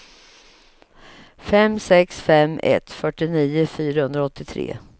fem sex fem ett fyrtionio fyrahundraåttiotre